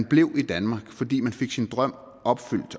blive i danmark fordi man fik sin drøm